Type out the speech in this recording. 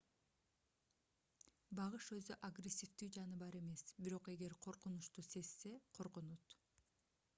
багыш өзү агрессивдүү жаныбар эмес бирок эгер коркунучту сезсе коргонот